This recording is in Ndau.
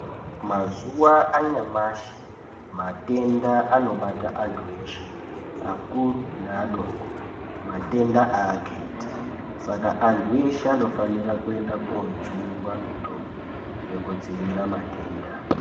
Mazuwa anyamashi matenda anobata anthu eshe akuru neadoko, matenda aakheti saka anthu eshe anofanira koojungwa mitombo yekudzivirira matenda.